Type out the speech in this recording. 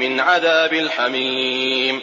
مِنْ عَذَابِ الْحَمِيمِ